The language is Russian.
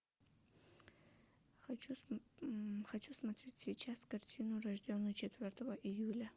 хочу смотреть сейчас картину рожденный четвертого июля